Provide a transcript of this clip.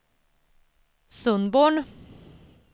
Sundborn